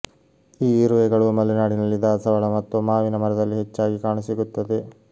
ಈ ಇರುವೆಗಳು ಮಲೆನಾಡಿನಲ್ಲಿ ದಾಸವಾಳ ಮತ್ತು ಮಾವಿನ ಮರದಲ್ಲಿ ಹೆಚ್ಚಾಗಿ ಕಾಣಸಿಗುತ್ತವೆ